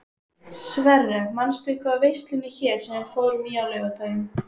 Sverre, manstu hvað verslunin hét sem við fórum í á laugardaginn?